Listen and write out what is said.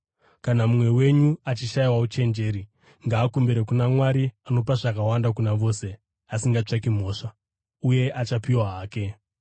Kana mumwe wenyu achishayiwa uchenjeri, ngaakumbire kuna Mwari, anopa zvakawanda kuna vose asingatsvaki mhosva, uye achapiwa hake.